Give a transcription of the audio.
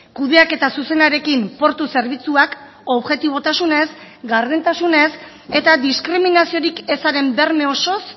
kudeaketa zuzenarekin portu zerbitzuak objetibotasunez gardentasunez eta diskriminaziorik ezaren berme osoz